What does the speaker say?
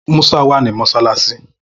Musa wà ní mọṣáláṣí.